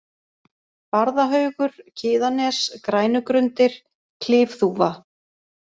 Barðahaugur, Kiðanes, Grænugrundir, Klifþúfa